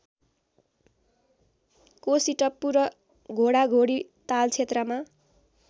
कोसीटप्पु र घोडाघोडी तालक्षेत्रमा